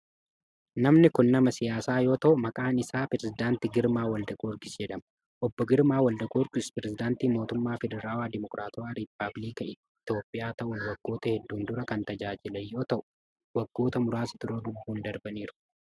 Namni kun nama siyaasaa yoo ta'u, maqaan isaa Pireezidant Girmaa Waldagiyoorgis jedhama. Obbo Girmaa Waldagiyoorgis pireezidantii mootummaa Federaalawaa, Deemookiraatawaa Rippaabilika Itoophiyaa ta'uun waggoota hedduun dura kan tajaajilan yoo ta'u, waggoota muraasa dura lubbuun darbaniiru.